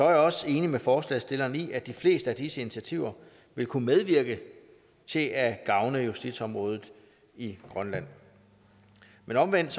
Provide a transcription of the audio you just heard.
jeg også enig med forslagsstilleren i at de fleste af disse initiativer vil kunne medvirke til at gavne justitsområdet i grønland men omvendt